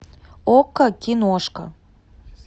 окко киношка